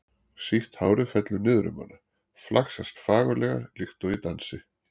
Sítt hárið fellur niður um hana, flaksast fagurlega líkt og í dansi.